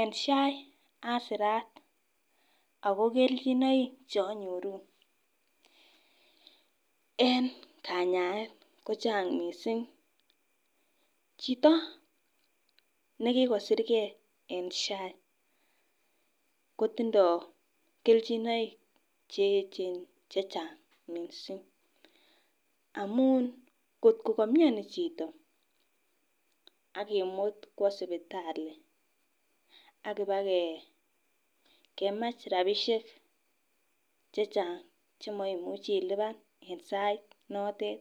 En SHA asirat ako keljinoik cheonyoru en kanyaet ko Chang missing, chito nekikosirgee en SHA kotindo keljinoik cheyechen chechang missing amun kotko komioni chito ak kimut kwo sipitali ak kipakemach rabishek chechang chemoimuchi ilipan en sait notet